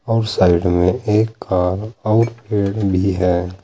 और साइड में एक कार और पेड़ भी हैं।